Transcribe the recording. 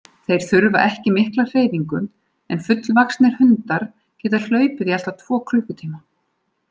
Þeir þurfa ekki mikla hreyfingu en fullvaxnir hundar geta hlaupið í allt að tvo klukkutíma.